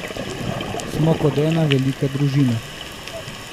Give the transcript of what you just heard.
Smo kot ena velika družina.